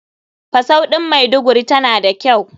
Fusau ɗin maiduguri tana da kyau.